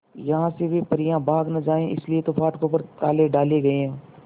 यहां से वे परियां भाग न जाएं इसलिए तो फाटकों पर ताले डाले गए हैं